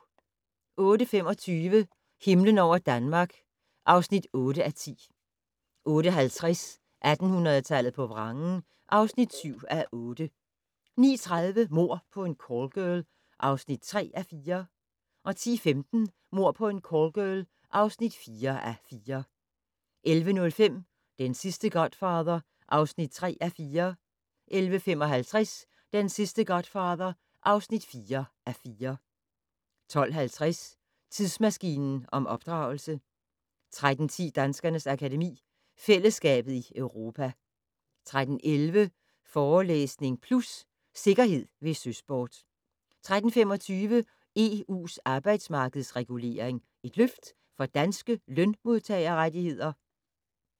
08:25: Himlen over Danmark (8:10) 08:50: 1800-tallet på vrangen (7:8) 09:30: Mord på en callgirl (3:4) 10:15: Mord på en callgirl (4:4) 11:05: Den sidste godfather (3:4) 11:55: Den sidste godfather (4:4) 12:50: Tidsmaskinen om opdragelse 13:10: Danskernes Akademi: Fællesskabet i Europa 13:11: Forelæsning Plus - Sikkerhed ved søsport 13:25: EU's arbejdsmarkedsregulering - et løft for danske lønmodtagerrettigheder?